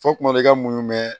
Fɔ kuma dɔ i ka muɲu mɛ